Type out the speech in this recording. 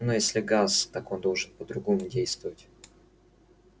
но если газ так он должен по-другому действовать